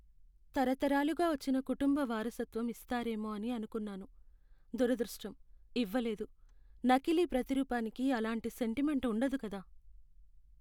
తరతరాలుగా వచ్చిన కుటుంబ వారసత్వం ఇస్తారేమో అని అనుకున్నాను, దురదృష్టం! ఇవ్వలేదు. నకిలీ ప్రతిరూపానికి అలాంటి సెంటిమెంట్ ఉండదు కదా.